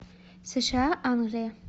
сша англия